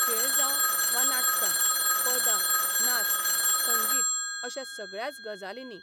खेळ जावं वा नाटकां, पदां, नाच, संगीत अश्या सगळ्याच गजालींनी.